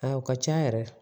A o ka ca yɛrɛ